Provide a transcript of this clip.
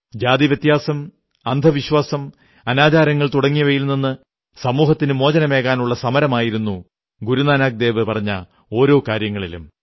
ജാതിവ്യത്യാസം അന്ധവിശ്വാസം അനാചാരങ്ങൾ തുടങ്ങിയവയിൽ നിന്ന് സമൂഹത്തിനു മോചനമേകാനുള്ള സമരമായിരുന്നു ഗുരുനാനക് ദേവു പറഞ്ഞ ഓരോ കാര്യങ്ങളിലും